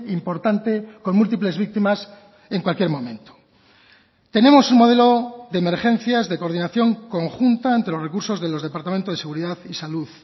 importante con múltiples víctimas en cualquier momento tenemos un modelo de emergencias de coordinación conjunta entre los recursos de los departamentos de seguridad y salud